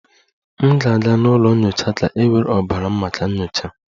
M ga-aga n'ụlọ nyocha ka e were ọbara m maka nyocha